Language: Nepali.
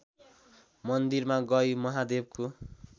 मन्दिरमा गई महादेवको